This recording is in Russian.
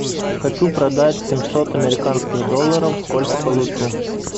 хочу продать семьсот американских долларов сколько получу